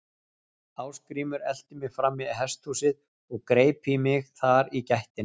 Ásgrímur elti mig fram í hesthúsið og greip í mig þar í gættinni.